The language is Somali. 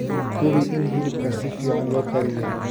Hubi in hilibka si fiican loo kariyey.